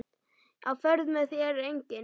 Á ferð með þér enginn.